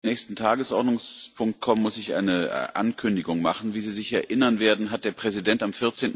Bevor wir zum nächsten Tagesordnungspunkt kommen, muss ich eine Ankündigung machen. Wie Sie sich erinnern werden, hat der Präsident am